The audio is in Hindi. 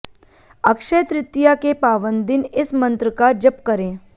अक्षय तृतीया के पावन दिन इस मंत्र का जप करें